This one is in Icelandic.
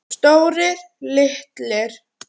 Stórir, litlir.